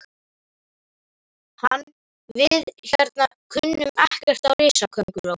Hann. við hérna kunnum ekkert á risakónguló.